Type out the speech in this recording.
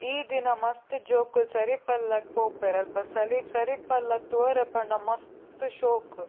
ಈ ದಿನ ಮಸ್ತ್ ಜೋಕುಲು ಸರಿಪಲ್ಲಗ್ ಪೋಪೆರ್ ಅಲ್ಪ ಸಲಿ ಸರಿಪಲ್ಲ ತೂವೆರೆ ಪೋಂಡ ಮಸ್ತ್ ಶೋಕು.